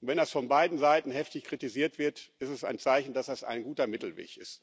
Und wenn es von beiden Seiten heftig kritisiert wird, ist es ein Zeichen, dass es ein guter Mittelweg ist.